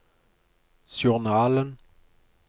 journalen